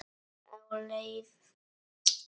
Á leið í skóla.